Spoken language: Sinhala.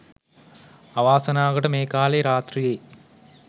අවාසනාවකට මේ කාලේ රාත්‍රියේ